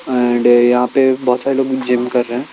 And यहाँ पे बहुत सारे लोग जिम कर रहे हैं।